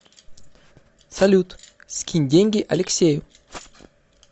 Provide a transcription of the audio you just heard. салют скинь деньги алексею